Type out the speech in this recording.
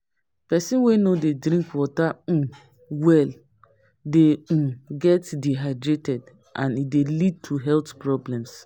Pesin wey no dey drink water um well dey um get dehydration and e dey lead to health problems.